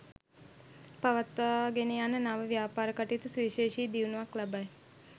පවත්වාගෙන යන නව ව්‍යාපාර කටයුතු සුවිශේෂී දියුණුවක් ලබයි.